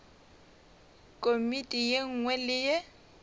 komiti ye nngwe le ye